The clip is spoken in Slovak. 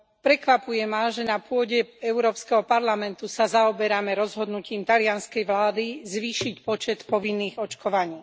Prekvapuje ma, že na pôde Európskeho parlamentu sa zaoberáme rozhodnutím talianskej vlády zvýšiť počet povinných očkovaní.